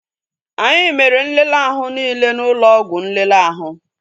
Anyị mere nlele ahụ niile n'ụlọ ọgwụ nlele ahụ